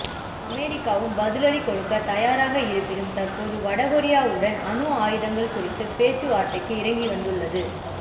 அமெரிக்காவும் பதிலடி கொடுக்க தயாராக இருப்பினும் தற்போது வடகொரியாவுடன் அணு ஆயுதங்கள் குறித்த பேச்சுவார்த்தைக்கு இறங்கி வந்துள்ளது